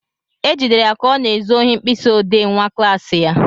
E jidere ya ka ọ na-ezu ohi mkpịsị odee nwa klassị ya.